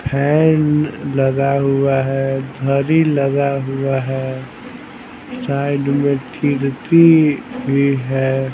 Fan लगा हुआ है घड़ी लगा हुआ है साइड में खिड़की भी हैं।